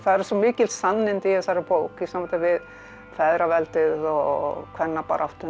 svo mikil sannindi í þessari bók í sambandi við feðraveldið og kvennabaráttuna